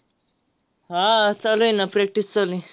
हा, चालू आहे ना. practice चालू आहे.